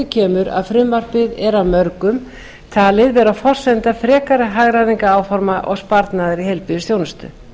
kemur að frumvarpið er af mörgum talið vera forsenda frekari hagræðingaráforma og sparnaðar í